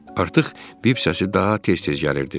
Artıq bip səsi daha tez-tez gəlirdi.